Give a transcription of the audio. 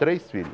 Três filhos.